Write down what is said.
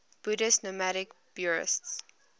buddhist nomadic buryats